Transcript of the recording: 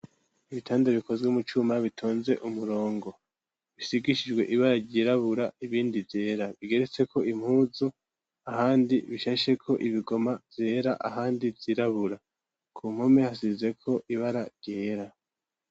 Ibitanda bikozwe mu cuma bitunze umurongo bisigishijwe ibara ryirabura ibindi vyera bigeretseko impuzu ahandi bishasheko ibigoma vyera ahandi vyirabura ku mpome hasizeko ibara ryera.